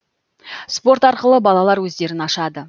спорт арқылы балалар өздерін ашады